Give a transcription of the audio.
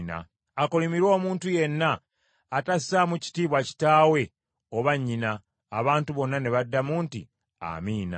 “Akolimirwe omuntu yenna atassaamu kitiibwa kitaawe oba nnyina.” Abantu bonna ne baddamu nti, “Amiina.”